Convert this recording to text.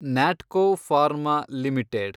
Natco pharma limited